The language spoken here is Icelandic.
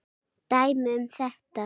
Dæmi um þetta